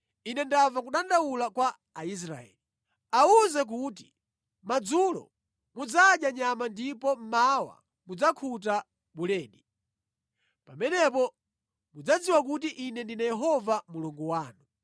“Ine ndamva kudandaula kwa Aisraeli. Awuze kuti, ‘Madzulo mudzadya nyama ndipo mmawa mudzakhuta buledi. Pamenepo mudzadziwa kuti ine ndine Yehova Mulungu wanu.’ ”